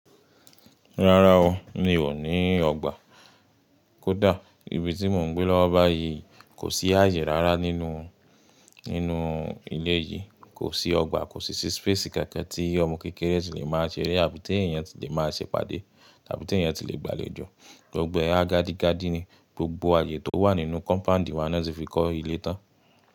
Rárá o, mi ò ní ọgbà. Kódà ibi tí mò ń gbé lọ́wọ́ báyìí kò sí ààyè rárá nínú, nínú ilé yìí. Kò sí ọgbà, kò sì sí space kankan tí ọmọ kékeré tí lè máa ṣeré àbí tí èèyàn tí lè máa ṣẹ pàdé àbí tí èèyàn tí lè gbàlejò. Gbogbo e ha gadi gádí ni, gbogbo ààyè tó wà nínú kọ́mpáǹdì wa ni wọ́n ti fi kọ́ ilé tán.